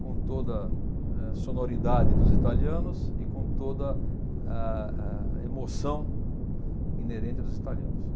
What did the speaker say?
com toda eh sonoridade dos italianos e com toda a a emoção inerente dos italianos.